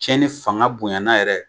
Cɛnnin fanga bonyana yɛrɛ